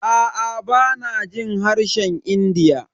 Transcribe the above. Aa bana jin harshen India.